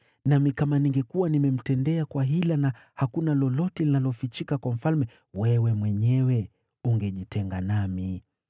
Nami kama ningekuwa nimemtendea kwa hila, na hakuna lolote linalofichika kwa mfalme, wewe mwenyewe ungejitenga nami.”